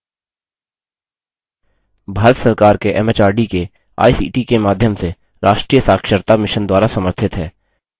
भारत सरकार के एमएचआरडी के आईसीटी के माध्यम से राष्ट्रीय साक्षरता mission द्वारा समर्थित है